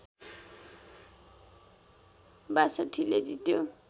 ६२ ले जित्यो